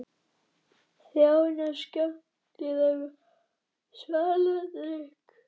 Þjónar skenktu þeim svaladrykk.